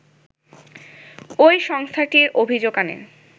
ওই সংস্থাটির অভিযোগ আনে